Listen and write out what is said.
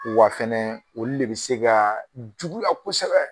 wa fɛnɛ olu de be se kaa juguya kosɛbɛ